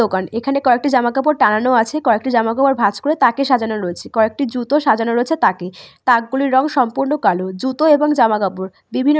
দোকান এখানে কয়েকটি জামা কাপড় টানানো টাঙানো আছে কয়েকটি জামা কাপড় ভাঁজ করে তাকে সাজানো রয়েছে। কয়েকটি জুতো সাজানো রয়েছে তাকে । তাক গুলির রং সম্পূর্ণ কালো। জুতো এবং জামা কাপড় বিভিন্ন--